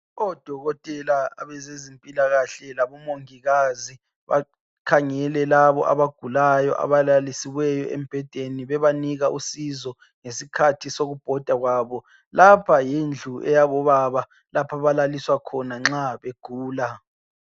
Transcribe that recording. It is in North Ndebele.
Odokotela abazezimpilakahle Kanye lamongikazi bakhangele labo abagulayo abalalisiweyo embhedeni bebanika usizo ngesikhathi sokubhoda kwabo lapha yindlu eyabobaba lapho abalaliswa khona nxa begula.